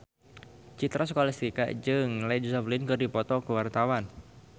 Citra Scholastika jeung Led Zeppelin keur dipoto ku wartawan